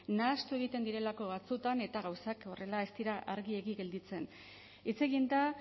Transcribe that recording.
nahastu egiten direlako batzuetan eta gauzak horrela ez dira argiegi gelditzen hitz egin da